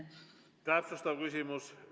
Täpsustav küsimus.